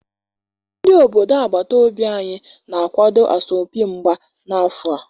Ndi obodo agbata obi anyi na-akwado asọmpi mgba n'afọ a